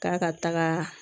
K'a ka taga